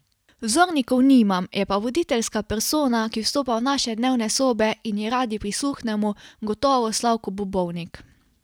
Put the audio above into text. Vzornikov nimam, je pa voditeljska persona, ki vstopa v naše dnevne sobe in ji radi prisluhnemo, gotovo Slavko Bobovnik.